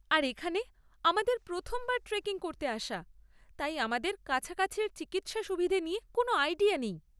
আর এখানে আমাদের প্রথমবার ট্রেকিং করতে আসা, তাই আমাদের কাছাকাছির চিকিৎসা সুবিধে নিয়ে কোনও আইডিয়া নেই।